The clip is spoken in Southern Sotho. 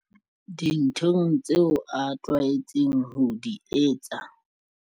Dinthong tseo a tlwaetseng ho di etsa.